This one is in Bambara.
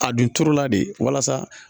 A dun turu la de walasa